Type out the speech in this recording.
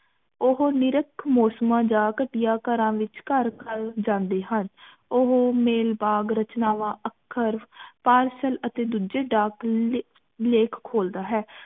ਉਹ ਨਿਰਖ ਮੌਸਮਾਂ ਜਾਂ ਘਟੀਆ ਘਰਾਂ ਵਿਚ ਘਰ ਘਰ ਜਾਂਦੇ ਹਨ ਉਹ ਮੇਲਬਾਗ ਰਚਨਾਵਾਂ ਅਖਰ parcel ਅਤੇ ਦੂਜੇ ਡਾਕ ਲੇਖ ਖੋਲ੍ਹਦਾ ਹੈ